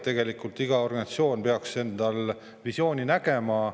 Tegelikult peaks igal organisatsioonil visioon olemas olema.